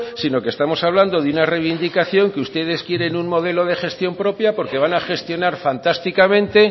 sino que estamos hablando de una reivindicación que ustedes quieren un modelo de gestión propia porque van a gestionar fantásticamente